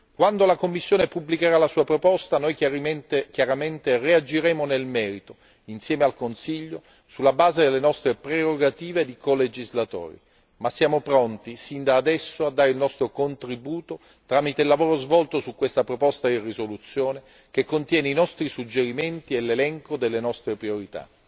Quando la Commissione pubblicherà la sua proposta noi chiaramente reagiremo nel merito, insieme al Consiglio, sulla base delle nostre prerogative di colegislatori, ma siamo pronti sin da adesso a dare il nostro contributo tramite il lavoro svolto su questa proposta di risoluzione che contiene i nostri suggerimenti e l'elenco delle nostre priorità.